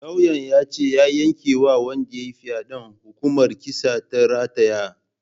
Lauyan yace ya yanke wa wanda yayi faɗen hukumar kisa ta rataya